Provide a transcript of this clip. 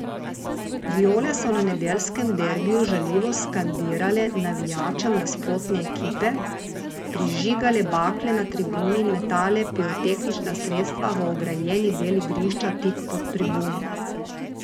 Viole so na nedeljskem derbiju žaljivo skandirale navijačem nasprotne ekipe, prižigale bakle na tribuni in metale pirotehnična sredstva v ograjeni del igrišča tik pod tribuno.